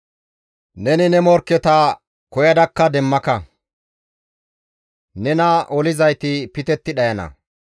Neni ne morkketakka koyadakka demmaka; nena olizayti pitetti dhayana.